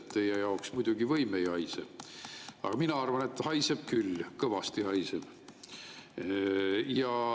Teie jaoks muidugi võim ei haise, aga mina arvan, et haiseb küll, kõvasti haiseb.